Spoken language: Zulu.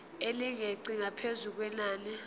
elingeqi ngaphezu kwenani